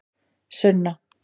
Sunna